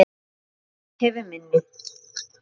Guð hefur minni.